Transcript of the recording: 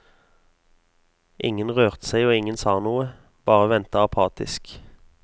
Ingen rørte seg og ingen sa noe, bare ventet apatisk.